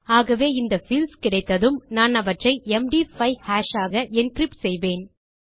ஆகவே இந்த பீல்ட்ஸ் கிடைத்ததும் நான் அவற்றை எம்டி 5 ஹாஷ் ஆக என்கிரிப்ட் செய்வேன்